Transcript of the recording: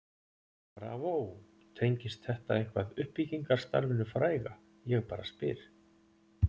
BRAVÓ, tengist þetta eitthvað uppbyggingarstarfinu fræga ég bara spyr?